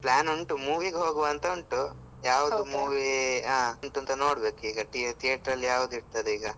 Plan ಉಂಟು movie ಗ್ ಹೋಗುವ ಅಂತ ಉಂಟು ಯಾವ್ದು movie ಅಂತ ನೋಡ್ಬೇಕು ಇವಾಗ theater ಅಲ್ ಯಾವ್ದು ಇರ್ತದೆ ಈಗ.